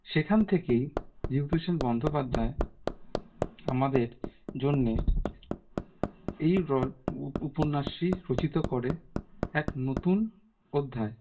সেখান থেকেই বিভূতিভূষণ বন্দ্যোপাধ্যায় আমাদের জন্যে এই role উপন্যাসই রচিত করে এক নতুন অধ্যায়